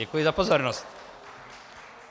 Děkuji za pozornost.